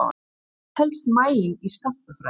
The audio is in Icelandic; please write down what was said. Hvað telst mæling í skammtafræði?